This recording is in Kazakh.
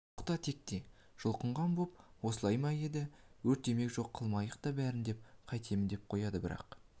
оқта-текте жұлқынған боп осылай ма еді өртемейік жоқ қылмайық та бәрін мен қайтемін деп қояды бірақ